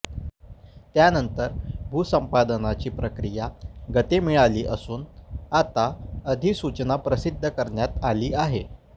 त्यानंतर भूसंपादनाची प्रक्रिया गती मिळाली असून आता अधिसूचना प्रसिध्द करण्यात आली आहे